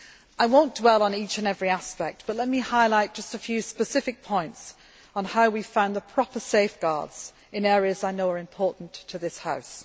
I will not dwell on each and every aspect, but let me highlight just a few specific points on how we have found the proper safeguards in areas that I know are important to this House.